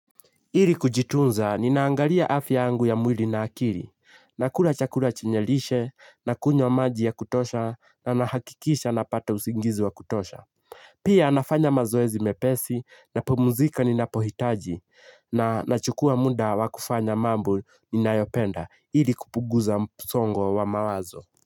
Ili kujitunza ninaangalia afya yangu ya mwili na akili nakula chakula chinye lishe na kunywa maji ya kutosha na nahakikisha napata usingizi wa kutosha. Pia nafanya mazoezi mepesi napumzika ninapohitaji na nachukua muda wa kufanya mambo ninayopenda ili kupunguza msongo wa mawazo.